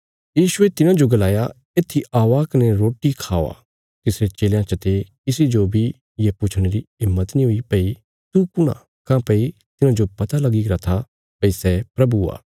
यीशुये तिन्हांजो गलाया येत्थी औआ कने रोटी खावा तिसरे चेलयां चते किसी जो बी ये पुछणे री हिम्मत नीं हुई भई तू कुण आ काँह्भई तिन्हांजो पता लगी गरा था भई सै प्रभु आ